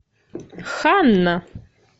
ханна